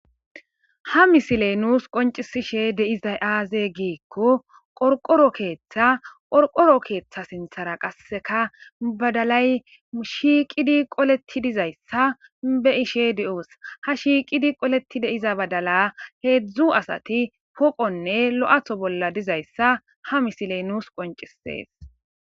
ha misiley nuus qoncisishe de'izay aaze giikko qorqoro keeththa qorqoro keeththa sinthara qasseka badalay shiiqidi qoleti dizayssa be ishe di7oos ha shiiqidi qoleti deiza badala heedzdzu asati poqonne lo7atho bolla dizayssa ha misiley nuus qoncisees